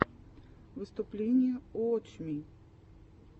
выступление уотч ми